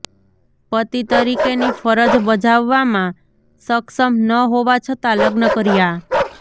પતિ તરીકેની ફરજ બજાવવામાં સક્ષમ ન હોવા છતાં લગ્ન કર્યા